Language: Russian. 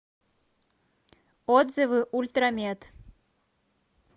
отзывы ультрамед